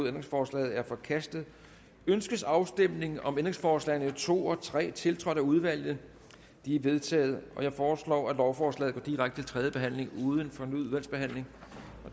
ændringsforslaget er forkastet ønskes afstemning om ændringsforslagene nummer to og tre tiltrådt af udvalget de er vedtaget jeg foreslår at lovforslaget går direkte til tredje behandling uden fornyet udvalgsbehandling